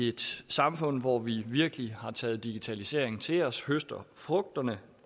et samfund hvor vi virkelig har taget digitaliseringen til os og høster frugterne